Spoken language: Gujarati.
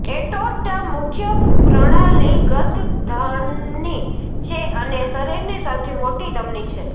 એરોર્ટા મુખ્ય પ્રણાલીગત ધમની છે અને શરીરની સૌથી મોટી ધમની છે